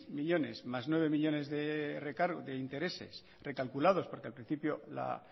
millónes más nueve millónes de intereses recalculados porque al principio la